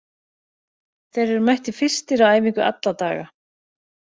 Þeir eru mættir fyrstir á æfingu alla daga.